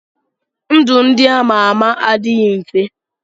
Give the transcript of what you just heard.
Ndụ ndị ama ama adịghị mfe.